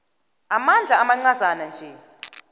amandla amancazana nje